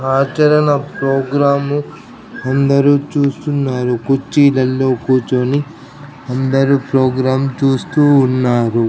ఆచారన programme అందరు చూస్తున్నారు కుర్చీలల్లో కూర్చొని అందరు ప్రోగ్రాం చూస్తూ ఉన్నారు.